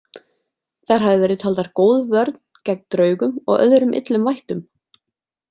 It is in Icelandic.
Þær hafa verið taldar góð vörn gegn draugum og öðrum illum vættum.